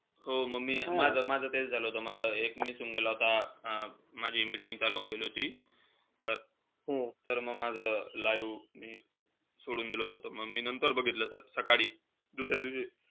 हो म मी माझं-माझं तेच झालं होतं. माझा एक miss होऊन गेलं होता. माझी meeting चालू होऊन गेली होती. तर म माझं live मी सोडून दिलं होतं त मी नंतर बघितलं होत. सकाळी, दुसऱ्या दिवशी.